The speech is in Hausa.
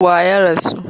Wa ya rasu?